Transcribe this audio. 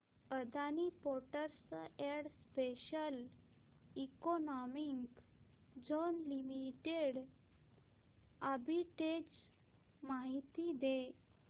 Adani ports and special economic zone limited arbitrage माहिती दे